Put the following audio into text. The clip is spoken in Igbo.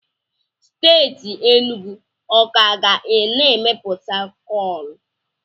Steeti Enugu ọ ka ga na-emepụta koolu?